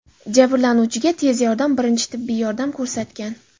Jabrlanuvchiga tez yordam birinchi tibbiy yordam ko‘rsatgan.